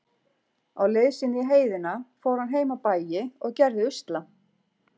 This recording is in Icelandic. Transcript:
Á leið sinni í heiðina fór hann heim á bæi og gerði usla.